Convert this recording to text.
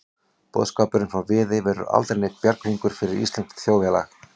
Boðskapurinn frá Viðey verður aldrei neinn bjarghringur fyrir íslenskt þjóðfélag.